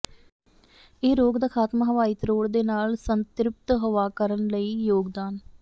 ਇਹ ਰੋਗ ਦਾ ਖਾਤਮਾ ਹਵਾਈ ਤਰੋੜ ਦੇ ਨਾਲ ਸੰਤ੍ਰਿਪਤ ਹਵਾ ਕਰਨ ਲਈ ਯੋਗਦਾਨ